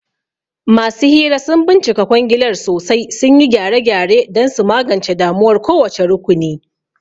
Masu hira sun bincika kwangilar sosai, sun yi gyare-gyare don su magance damuwar kowace rukuni.